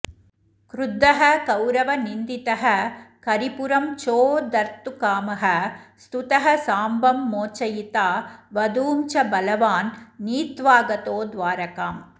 क्रुद्धः कौरवनिन्दितः करिपुरं चोद्धर्तुकामः स्तुतः साम्बं मोचयिता वधूं च बलवान् नीत्वाऽऽगतो द्वारकाम्